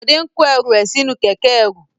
Bọ̀dé ń kó ẹru rẹ̀ sí inú kẹ̀kẹ́ ẹrú.